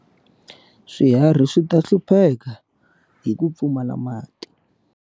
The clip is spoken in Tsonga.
Swihari swi ta hlupheka hi ku pfumala mati.